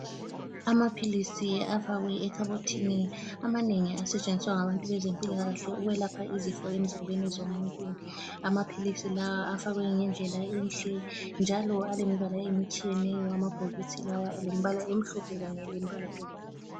Amaphilisi afakwe ekhabothini amanengi asetshenziswa ngabantu bezempilakahle ukwelapha izifo emzimbeni zomuntu. Amaphilisi lawa afakwe ngendlela enhle njalo alemibala emitshiyeneyo amabhokisi lawa alemibala emhlophe kanye lemibala ebomvu.